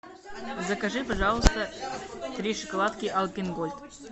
закажи пожалуйста три шоколадки альпен гольд